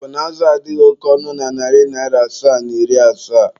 Ọ bụna azụ a adịghị oke ọnụ na narị asaa na iri asaa?